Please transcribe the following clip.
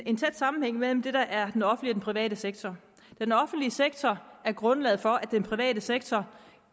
en tæt sammenhæng mellem det der er den offentlige private sektor den offentlige sektor er grundlaget for at den private sektor